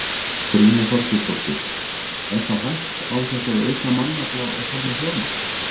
Brynja Þorgeirsdóttir: Er það hægt án þess að auka mannafla og þar með fjármagn?